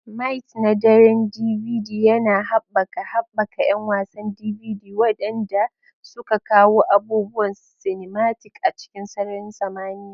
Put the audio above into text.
Mights na Daren DVD yana haɓaka haɓaka 'yan wasan DVD, waɗanda suka kawo abubuwan cinematic a cikin sararin samaniya.